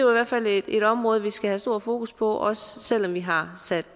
hvert fald et område vi skal have stort fokus på også selv om vi har sat